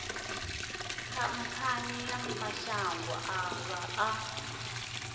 khamphani ya mashango ḓavha a